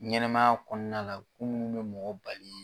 Ɲɛnɛmaya kɔnɔna la ko minnu bɛ mɔgɔ bali